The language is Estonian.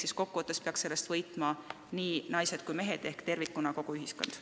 Nii et kokkuvõttes peaks sellest võitma nii naised kui mehed ehk tervikuna kogu ühiskond.